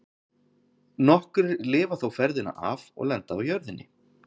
Nokkrir lifa þó ferðina af og lenda á jörðinni.